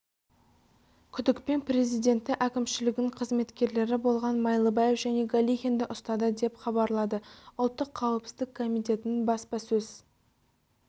күдікпен президенті әкімшілігінің қызметкерлері болған майлыбаев және галихинді ұстады деп хабарлады ұлттық қауіпсіздік комитетінің баспасөз